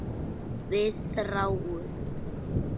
Við þráum.